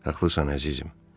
Haqlısan əzizim.